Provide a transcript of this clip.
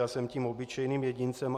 Já jsem tím obyčejným jedincem.